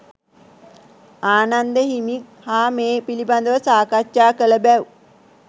ආනන්ද හිමි හා මේ පිළිබඳව සාකච්ඡා කළ බැව්